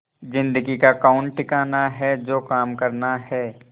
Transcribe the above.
जिंदगी का कौन ठिकाना है जो काम करना है